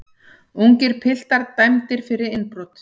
Ungir piltar dæmdir fyrir innbrot